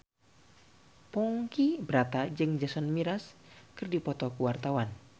Ponky Brata jeung Jason Mraz keur dipoto ku wartawan